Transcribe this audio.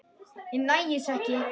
Ég næ þessu ekki.